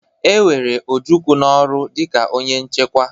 E were Ojukwu n'ọrụ dịka onye nchekwa.